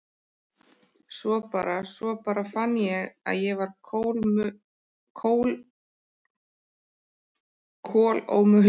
Svo bara. svo bara fann ég að ég var kolómögulegur.